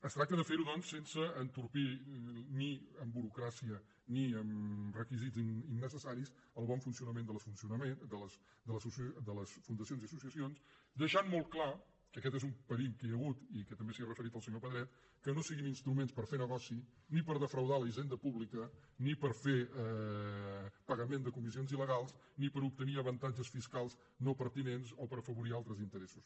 es tracta de fer ho doncs sense entorpir ni amb burocràcia ni amb requisits innecessaris el bon funcionament de les fundacions i associacions deixant molt clar que aquest és un perill que hi ha hagut i que també s’hi ha referit el senyor pedret que no siguin instruments per fer negoci ni per defraudar la hisenda pública ni per fer pagament de comissions il·legals ni per obtenir avantatges fiscals no pertinents o per afavorir altres interessos